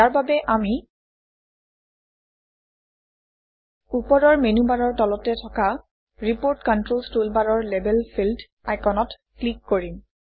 ইয়াৰ বাবে আমি ওপৰৰ মেনুবাৰৰ তলতে থকা ৰিপোৰ্ট কন্ট্ৰলছ টুলবাৰৰ লেবেল ফিল্ড আইকনত ক্লিক কৰিম